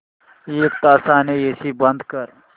एक तासाने एसी बंद कर